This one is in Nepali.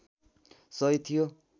सही थियो